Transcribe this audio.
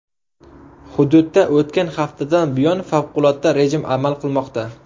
Hududda o‘tgan haftadan buyon favqulodda rejim amal qilmoqda.